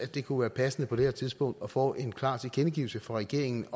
det kunne være passende på det her tidspunkt at få en klar tilkendegivelse fra regeringen af